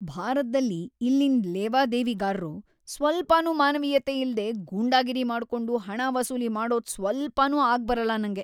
ಭಾರತ್ದಲ್ಲಿ ಇಲ್ಲಿನ್‌ ಲೇವಾದೇವಿಗಾರ್ರು ಸ್ವಲ್ಪನೂ ಮಾನವೀಯತೆ ಇಲ್ದೇ ಗೂಂಡಾಗಿರಿ ಮಾಡ್ಕೊಂಡ್ ಹಣ ವಸೂಲಿ ಮಾಡೋದು ಸ್ವಲ್ಪನೂ ಆಗ್ಬರಲ್ಲ ನಂಗೆ.